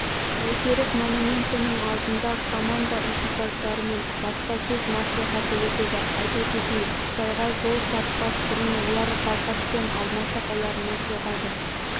бәйтерек монументінің алдында команда экипаждарымен баспасөз мәслихаты өтеді айта кетейік қытайға жол тартпас бұрын олар балқаш пен алматы қалаларына соғады